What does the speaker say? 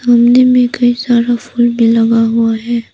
गमले में कई सारा फूल भी लगा हुआ है।